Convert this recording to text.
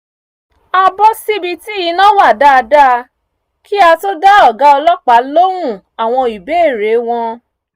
a bọ́ síbi tí iná wà dáadáa kí á tó dá ọ̀gá ọlọ́pàá lóhùn àwọn ìbéèrè wọn